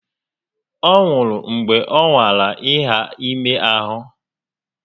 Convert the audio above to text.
Ọ nwụrụ mgbe ọ nwara iha ime ahụ